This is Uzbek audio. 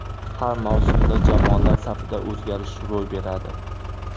Har mavsumda jamoalar safida o‘zgarish ro‘y beradi.